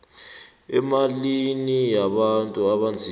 emalimini wabantu abanzima